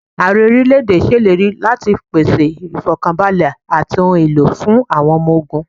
Ààrẹ orílẹ̀ èdè ṣe ìlérí láti pèsè ifọkanbalẹ àti ohun èlò fún àwọn ọmọ ogún.